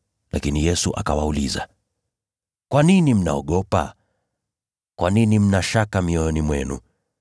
Lakini Yesu akawauliza, “Kwa nini mnaogopa? Kwa nini mna shaka mioyoni mwenu?